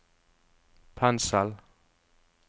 pensel